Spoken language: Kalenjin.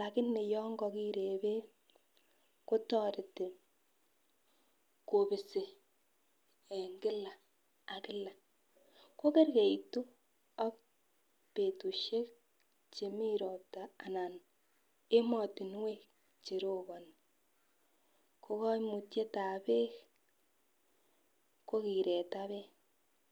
lakini yon kokire beek kotoreti kopisi en Kila ak Kila ko kergeitu ak betushek chemeii ropta anan emotunwek cheroponi ko koimutyetab beek ko kireta beek.